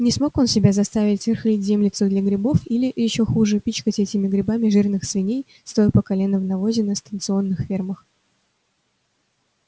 не смог он себя заставить рыхлить землицу для грибов или ещё хуже пичкать этими грибами жирных свиней стоя по колено в навозе на станционных фермах